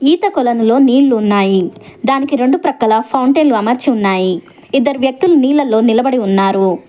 ఈత కొలనులో నీళ్లు ఉన్నాయి దానికి రెండు ప్రక్కల ఫౌంటెన్లు అమర్చి ఉన్నాయి ఇద్దరు వ్యక్తులు నీళ్లలో నిలబడి ఉన్నారు.